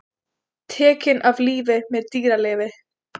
Tekinn af lífi með dýralyfi